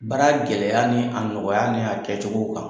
Baara gɛlɛya ni a nɔgɔya ni a kɛcogow kan